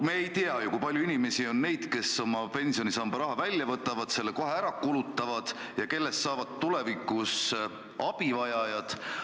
Me ei tea ju, kui palju on inimesi, kes oma pensionisamba raha välja võtavad, selle kohe ära kulutavad ja kellest saavad tulevikus abivajajad.